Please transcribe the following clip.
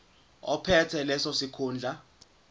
ophethe leso sikhundla